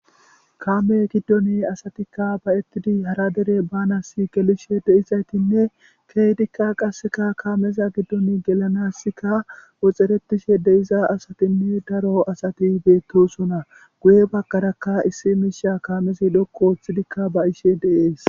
kaame giddoni asatikka bayettidi hara dere baanasi gelishe deizaytinne keeydikka qasseka kaameza giddon gelanasika woxeretishe deiza asatinne daro asati beettosona guye baggarakka issi miisha kaamezi dhoqu ooththidikka ba ishe deees